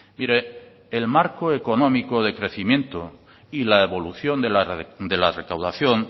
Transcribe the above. mire el marco económico de crecimiento y la evolución de la recaudación